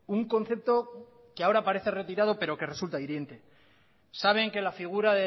un concepto que ahora parece retirado pero que resulta hiriente saben que la figura